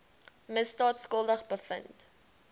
misdaad skuldig bevind